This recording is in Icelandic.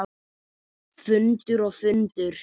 Fundur og fundur.